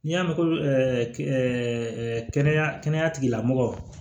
N'i y'a mɛn ko kɛnɛya tigilamɔgɔw